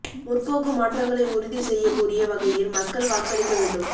முற்போக்கு மாற்றங்களை உறுதி செய்யக் கூடிய வகையில் மக்கள் வாக்களிக்க வேண்டும்